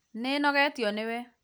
nĩnogetio nĩwe